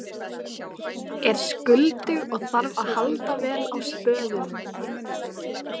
Er skuldug og þarf að halda vel á spöðunum.